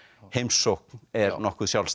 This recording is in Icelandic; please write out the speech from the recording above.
heimsókn er nokkuð sjálfstæð